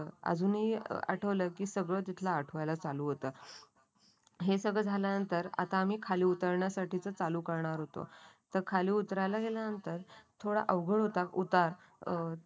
आजुनी आठवलं की तिथलं सगळं आठवायला चालू होत हे सगळं झाल्यानंतर आता आम्ही खाली उतरण्यासाठी चालू करणार होतो. तो खाली उतरायला गेल्यानंतर थोडा अवघड होता उतार अं